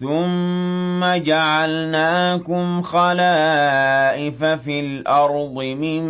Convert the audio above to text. ثُمَّ جَعَلْنَاكُمْ خَلَائِفَ فِي الْأَرْضِ مِن